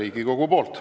Aitäh!